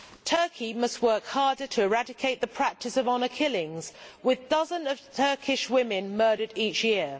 Turkey must work harder to eradicate the practice of honour killings, with dozens of Turkish women murdered each year.